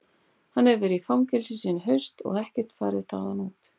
Hann hefur verið í fangelsi síðan í haust og ekkert farið þaðan út.